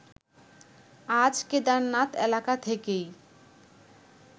আজ কেদারনাথ এলাকা থেকেই